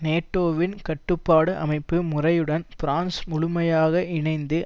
நேட்டோவின் கட்டுப்பாட்டு அமைப்பு முறையுடன் பிரான்ஸ் முழுமையாக இணைந்து